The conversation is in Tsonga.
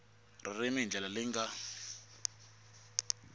ririmi hi ndlela leyi nga